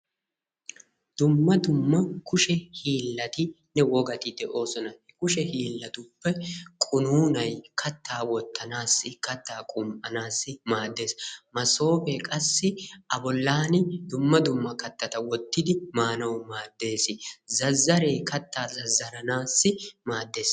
Dumma dumma kushe hiillatinne wogati de"oosona. Kushe hiillatuppe qunuunay kattaa wottanaasi kattaa qum"anaassi maaddes. Masoope qassi a bollan dumma dumma kattata wottidi maanawu maadeesi. Zazaree kattaa zazaranaassi maaddes.